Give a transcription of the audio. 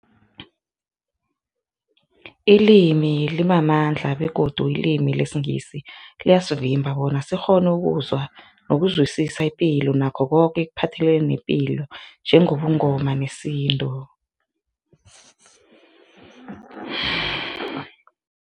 Ilimi limamandla begodu ilimi lesiNgisi liyasivimba bona sikghone ukuzwa nokuzwisisa ipilo nakho koke ekuphathelene nepilo njengobuNgoma nesintu.